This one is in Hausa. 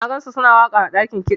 Na gansu suna waka ã dakin kida.